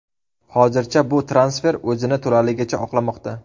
Hozircha bu transfer o‘zini to‘laligicha oqlamoqda.